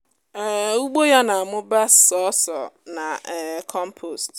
um ugbo ya nà amúbá sọ́sò na um kọ́mpost